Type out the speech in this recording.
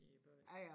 I byen